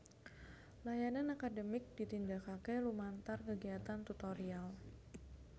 Layanan akademik ditindakake lumantar kegiatan tutorial